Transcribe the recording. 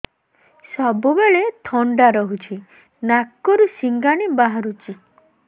ସବୁବେଳେ ଥଣ୍ଡା ରହୁଛି ନାକରୁ ସିଙ୍ଗାଣି ବାହାରୁଚି